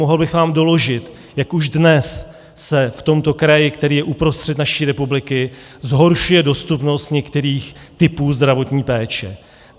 Mohl bych vám doložit, jak už dnes se v tomto kraji, který je uprostřed naší republiky, zhoršuje dostupnost některých typů zdravotní péče.